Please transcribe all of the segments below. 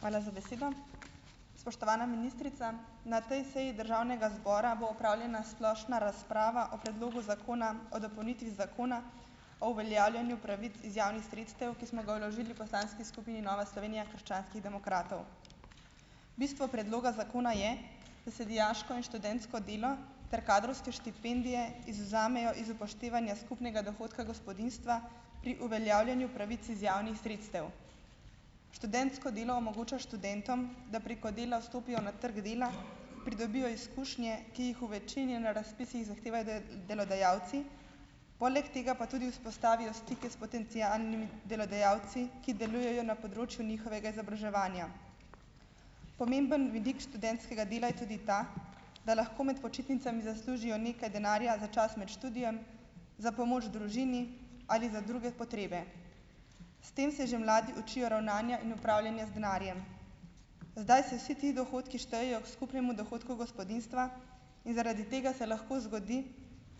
Hvala za besedo. Spoštovana ministrica! Na tej seji državnega zbora bo opravljena splošna razprava o predlogu zakona o dopolnitvi Zakona o uveljavljanju pravic iz javnih sredstev, ki smo ga vložili v poslanski skupini Nova Slovenija - krščanskih demokratov. Bistvo predloga zakona je, da se dijaško in študentsko delo ter kadrovske štipendije izvzamejo iz upoštevanja skupnega dohodka gospodinjstva pri uveljavljanju pravic iz javnih sredstev. Študentsko delo omogoča študentom, da preko dela vstopijo na trgu dela, pridobijo izkušnje, ki jih v večini na razpisih zahtevajo delodajalci, poleg tega pa tudi vzpostavijo stike s potencialnimi delodajalci, ki delujejo na področju njihovega izobraževanja. Pomemben vidik študentskega dela je tudi ta, da lahko med počitnicami zaslužijo nekaj denarja za čas med študijem, za pomoč družini ali za druge potrebe. S tem se že mladi učijo ravnanja in upravljanja z denarjem. Zdaj se vsi ti dohodki štejejo k skupnemu dohodku gospodinjstva in zaradi tega se lahko zgodi,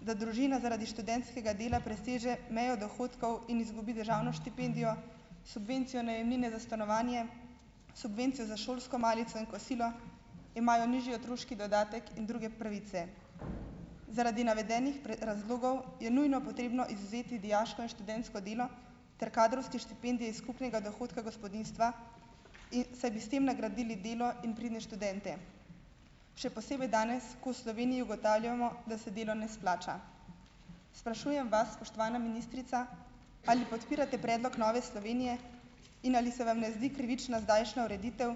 da družina zaradi študentskega dela preseže mejo dohodkov in izgubi državno štipendijo, subvencijo najemnine za stanovanje, subvencijo za šolsko malico in kosilo, imajo nižji otroški dodatek in druge pravice. Zaradi navedenih razlogov je nujno potrebno izvzeti dijaško in študentsko delo, ter kadrovske štipendije iz skupnega dohodka gospodinjstva, in saj bi s tem nagradili delo in pridne študente, še posebej danes, ko v Sloveniji ugotavljamo, da se delo ne splača. Sprašujem vas, spoštovana ministrica, ali podpirate predlog Nove Slovenije in ali se vam ne zdi krivična zdajšnja ureditev,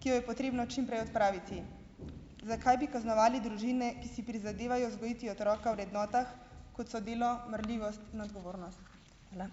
ki jo je potrebno čim prej odpraviti. Zakaj bi kaznovali družine, ki si prizadevajo vzgojiti otroka v vrednotah, kot so delo, marljivost in odgovornost? Hvala.